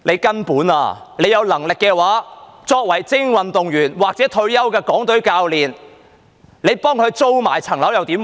根本上，當局有能力的話，他們替精英運動員或退休的港隊教練租房屋又如何？